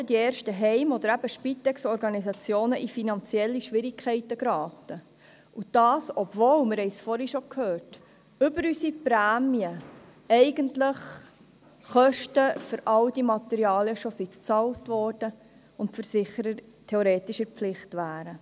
Die ersten Heim- oder Spitex-Organisationen sind in finanzielle Schwierigkeiten geraten, und dies, obschon die Kosten für alle Materialien mit unseren Prämien eigentlich bereits bezahlt sind und theoretisch die Versicherer in der Pflicht stünden, wie wir vorher bereits gehört haben.